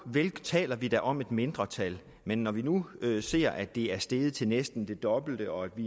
vel taler vi da om et mindretal men når vi nu ser at det er steget til næsten det dobbelte og at vi